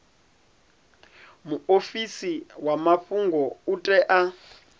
muofisi wa mafhungo u tea